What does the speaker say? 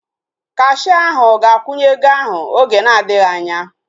Kashia ahu ga-akwụnye ego ahu oge na adịghị anya